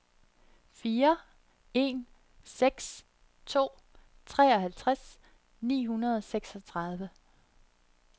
fire en seks to treoghalvtreds ni hundrede og seksogtredive